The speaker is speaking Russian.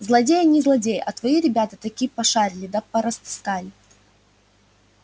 злодеи не злодеи а твои ребята таки пошарили да порастаскали